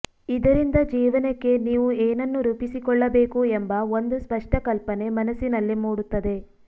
ಇದರಿಂದ ಜೀವನಕ್ಕೆ ನೀವು ಏನನ್ನು ರೂಪಿಸಿಕೊಳ್ಳಬೇಕು ಎಂಬ ಒಂದು ಸ್ಪಷ್ಟ ಕಲ್ಪನೆ ಮನಸ್ಸಿನಲ್ಲಿ ಮೂಡುತ್ತದೆ